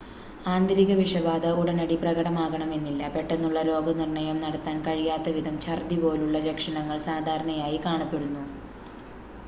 ആന്തരിക വിഷബാധ ഉടനടി പ്രകടമാകണമെന്നില്ല പെട്ടെന്നുള്ള രോഗനിർണ്ണയം നടത്താൻ കഴിയാത്തവിധം ഛർദ്ദി പോലുള്ള ലക്ഷണങ്ങൾ സാധാരണയായി കാണപ്പെടുന്നു